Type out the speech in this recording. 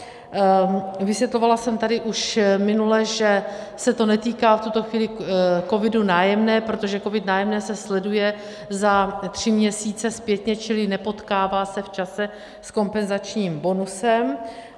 Vysvětlovala jsem tady už minule, že se to netýká v tuto chvíli COVIDu - Nájemné, protože COVID - Nájemné se sleduje za tři měsíce zpětně, čili nepotkává se v čase s kompenzačním bonusem.